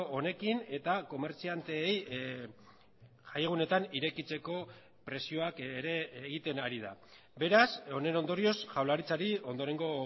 honekin eta komertzianteei jai egunetan irekitzeko presioak ere egiten ari da beraz honen ondorioz jaurlaritzari ondorengo